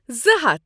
زٕ ہَتھ